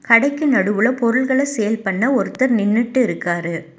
கடைக்கு நடுவுல பொருள்கள சேல் பண்ண ஒருத்தர் நின்னுட்டு இருக்காரு.